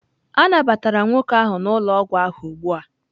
A nabatara nwoke ahụ n'ụlọ ọgwụ ahụ ugbu a.